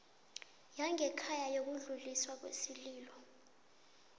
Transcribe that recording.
yangekhaya yokudluliswa kwesililo